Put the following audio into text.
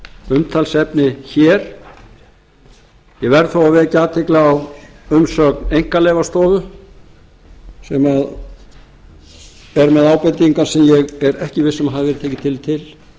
umtalsefni hér ég verð þó að vekja athygli á umsögn einkaleyfastofu sem er með ábendingar sem ég er ekki viss um að hafi verið tekið tillit til